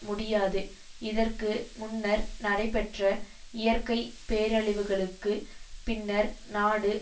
முடியாது இதற்கு முன்னர் நடைபெற்ற இயற்கை பேரழிவுகளுக்கு பின்னர் நாடு